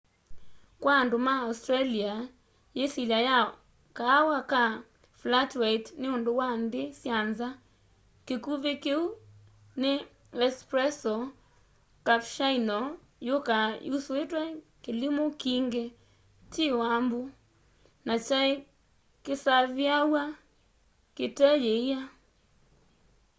kwa andu ma australia yisilya ya kaawa ka flat white” ni undu wa nthi sya nza. kikuvi kiu ni espresso” cappuchino yukaa yusuitw'e kilimu kingi ti wambu na kyai kisaviawa kite yiia